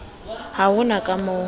ha ho na ka moo